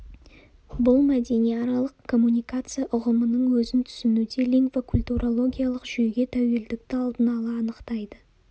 бұл мәдениаралық коммуникация ұғымының өзін түсінуде лингвокультурологиялық жүйеге тәуелділікті алдын ала анықтайды